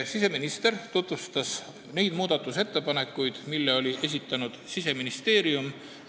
Siseminister tutvustas neid muudatusettepanekuid, mille oli esitanud Siseministeerium.